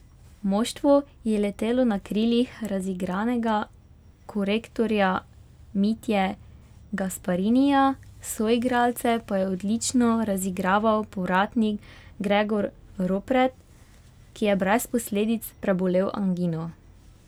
Moštvo je letelo na krilih razigranega korektorja Mitje Gasparinija, soigralce pa je odlično razigraval povratnik Gregor Ropret, ki je brez posledic prebolel angino.